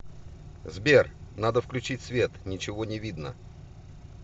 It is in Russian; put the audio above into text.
сбер надо включить свет ничего не видно